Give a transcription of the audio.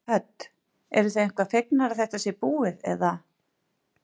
Hödd: Eruð þið eitthvað fegnar að þetta sé búið eða?